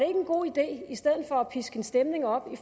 en god ide i stedet for at piske en stemning op i